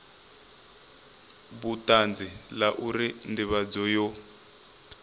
vhutanzi la uri ndivhadzo yo